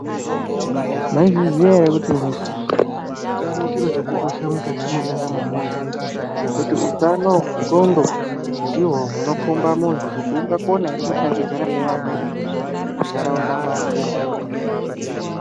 Maizviziya here kuti utano chiro chakakosha mukati mwendaramo yemuntu, ngekuti, utano hwendxondo hunokhomba muntu kuti ungakona here kushandidzana nevamweni muntaraunda mwake.